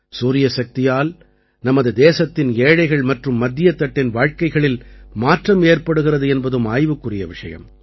சூரியசக்தியால் நமது தேசத்தின் ஏழைகள் மற்றும் மத்தியத்தட்டின் வாழ்க்கைகளில் மாற்றம் ஏற்படுகிறது என்பதும் ஆய்வுக்குரிய விஷயம்